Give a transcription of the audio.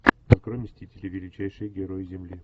открой мстители величайшие герои земли